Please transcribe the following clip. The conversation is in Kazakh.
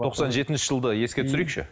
тоқсан жетінші жылды еске түсірейікші